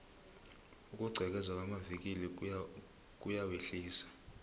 ukugqekezelwa kwamavikili kuyawehlisa